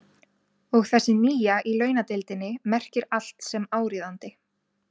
Og þessi nýja í launadeildinni merkir allt sem áríðandi.